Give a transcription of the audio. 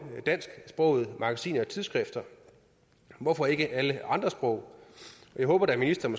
dansksprogede magasiner og tidsskrifter hvorfor ikke alle andre sprog jeg håber da ministeren